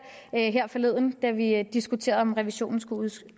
forleden da vi diskuterede om revisionen skulle